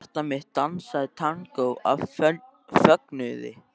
Hjarta mitt dansaði tangó af fögnuði.